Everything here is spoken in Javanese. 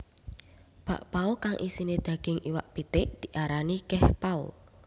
Bakpao kang isiné daging iwak pitik diarani kehpao